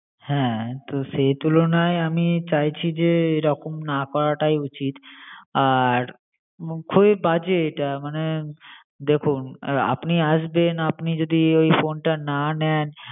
হ্যাঁ সেই তুলনায় আমি চাইছি যে এরকম না করাটাই উচিত আর budget দেখুন আপনি আসবেন আপনি যদি ওই phone টা না নেন